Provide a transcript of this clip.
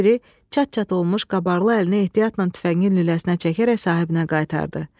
Ovçu piri çat-çat olmuş qabarlı əlinə ehtiyatla tüfəngin lüləsinə çəkərək sahibinə qaytardı.